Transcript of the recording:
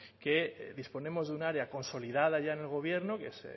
que disponemos de un área consolidada ya en el gobierno que es